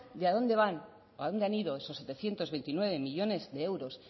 de a dónde van o a dónde han ido esos setecientos veintinueve millónes de euros